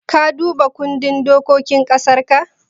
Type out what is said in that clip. Ka duba kundin dokokin ƙasarka?